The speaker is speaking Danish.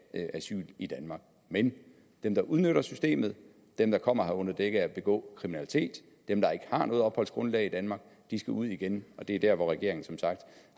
asyl i danmark men dem der udnytter systemet dem der kommer her under dække af at ville begå kriminalitet dem der ikke har noget opholdsgrundlag i danmark skal ud igen og det er der hvor regeringen som sagt